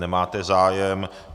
Nemáte zájem.